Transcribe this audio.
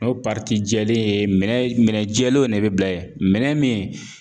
N'o jɛlen ye minɛ minɛn jɛlenw de be bila ye minɛn min